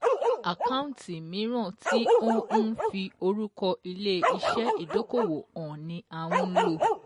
Àkáǹtì míràn tí ó n fi orúkọ ilé iṣẹ́ ìdókòwò hàn ni à ń lò.